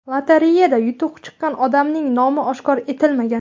Lotereyada yutuq chiqqan odamning nomi oshkor etilmagan.